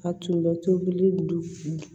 A tun bɛ tobili don